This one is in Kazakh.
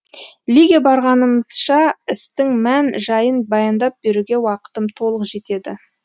лиге барғанымызша істің мән жайын баяндап беруге уақытым толық жетеді